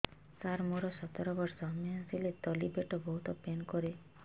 ସାର ମୋର ସତର ବର୍ଷ ମେନ୍ସେସ ହେଲେ ତଳି ପେଟ ବହୁତ ପେନ୍ କରେ